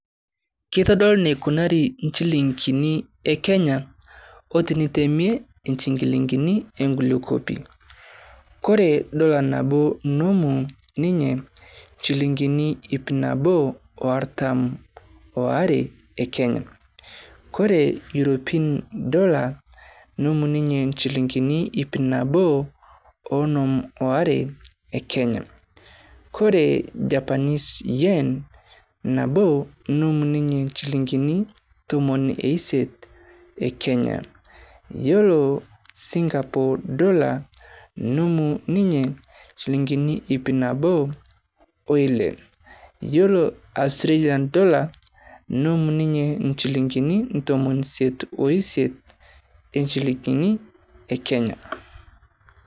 Keitodolu enikunari nchilingini e Kenya o tenitemie nchilingini e kulie kuapi. Ore dollar nabo nemut ninye nchilingini iip nabo o artam oare e Kenya. Ore Eouropean Dollar nemut ninye nchilingi iip nabo o onom oare e Kenya, ore Japanese yen nabo nemut ninye nchilingini tomon e isiet e Kenya. Yiolo Singapore dollar nemu ninye nchilingini iip nabo o ile yiolo Australian dollar nemut ninye nchilingini ntomoni isiet o isiet nchilingini e Kenya.